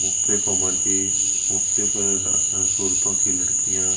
की लड़किया --